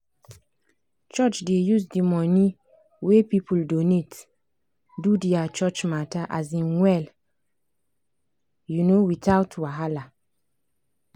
church dey use the money wey people donate do their church matter um well um without wahala.